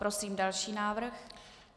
Prosím další návrh.